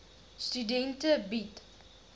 studente bied